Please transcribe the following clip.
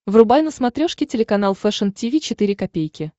врубай на смотрешке телеканал фэшн ти ви четыре ка